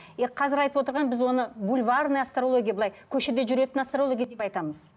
и қазір айтып отырған біз оны бульварный астрология былай көшеде жүретін астрология деп айтамыз